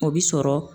O bi sɔrɔ